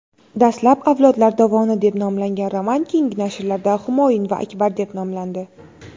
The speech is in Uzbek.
Dastlab "Avlodlar dovoni" deb nomlangan roman keyingi nashrlarda "Humoyun va Akbar" deb nomlandi.